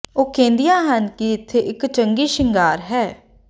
ਉਹ ਕਹਿੰਦੀਆਂ ਹਨ ਕਿ ਇੱਥੇ ਇੱਕ ਚੰਗੀ ਸ਼ਿੰਗਾਰ ਹੈ